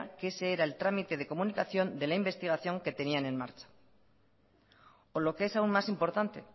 que ese era el trámite de comunicación de la investigación que tenía en marcha o lo que es aún más importante